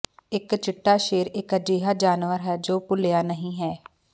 ਇਕ ਚਿੱਟਾ ਸ਼ੇਰ ਇੱਕ ਅਜਿਹਾ ਜਾਨਵਰ ਹੈ ਜੋ ਭੁੱਲਿਆ ਨਹੀਂ ਹੈ